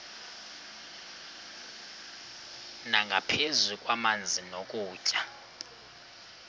nangaphezu kwamanzi nokutya